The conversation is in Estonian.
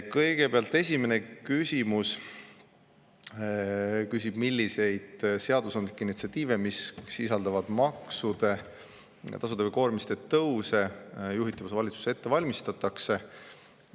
Kõigepealt esimene küsimus küsib, milliseid seadusandlikke initsiatiive, mis sisaldavad maksude, tasude ja koormiste tõuse, juhitavas valitsuses ette valmistatakse.